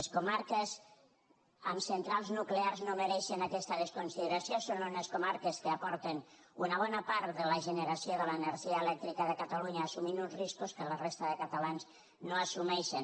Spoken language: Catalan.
les comarques amb centrals nuclears no mereixen aquesta desconsideració són unes comarques que aporten una bona part de la generació de l’energia elèctrica de catalunya i assumeixen uns riscos que la resta de catalans no assumeixen